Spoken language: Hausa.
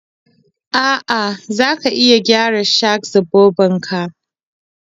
A'a, za ka iya gyara shak-zobobin ka